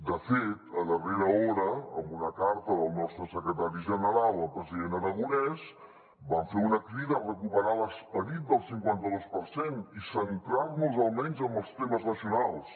de fet a darrera hora amb una carta del nostre secretari general al president aragonès vam fer una crida a recuperar l’esperit del cinquanta dos per cent i centrar nos almenys en els temes nacionals